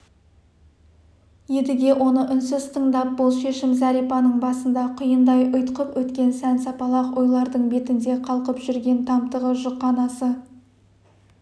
едіге оны үнсіз тыңдап бұл шешім зәрипаның басында құйындай ұйтқып өткен сан-сапалақ ойлардың бетінде қалқып жүрген тамтығы жұқанасы